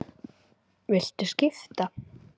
Viltu skipta?